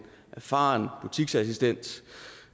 erfaren butiksassistent